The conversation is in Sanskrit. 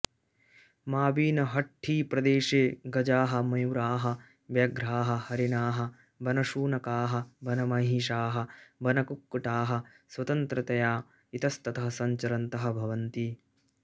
माविनहळ्ळीप्रदेशे गजाः मयूराः व्याघ्राः हरिणाः वनशुनकाः वनमहिषाः वनकुक्कुटाः स्वतन्त्रतया इतस्ततः सञ्चरन्तः भवन्ति